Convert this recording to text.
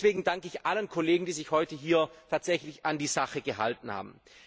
Deswegen danke ich allen Kollegen, die sich heute hier tatsächlich an die Sache gehalten haben.